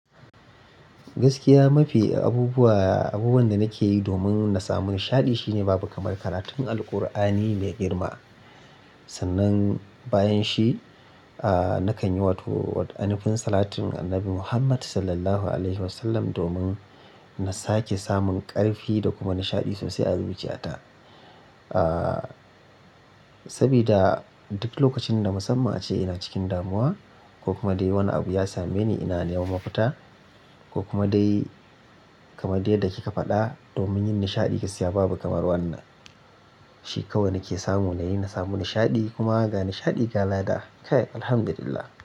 Gaskiya mafi abubuwa, abubuwan da nake yi domin na samu nishaɗi shine babu kamar karatun Alqur'ani mai girma. Sannan bayan shi, aa nakan yi wato anufin salatun annabi Muhammad Sallallahu Alaihi Wasallam domin na sake samun ƙarfi da kuma nishaɗi sosai a zuciyata. Aa saboda duk lokacin da musamman a ce ina cikin damuwa ko kuma dai wani abu ya same ni ina neman mafita ko kuma dai kamar dai yadda kika faɗa domin yin nishaɗi, ka siya babu kamar wannan. Shi kawai nake samu na yi na samu nishaɗi kuma ga nishaɗi gala da kai, Alhamdulillah.